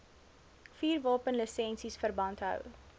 vuurwapenlisensies verband hou